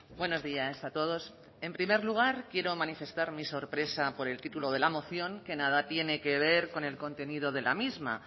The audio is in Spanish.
buenos días a todos en primer lugar quiero manifestar mi sorpresa por el título de la moción que nada tiene que ver con el contenido de la misma